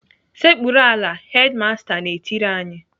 "Sekpuru ala!" Hedimasta na-etiri anyị.